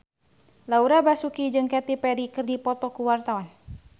Laura Basuki jeung Katy Perry keur dipoto ku wartawan